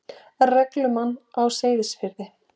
reglumann á Seyðisfirði.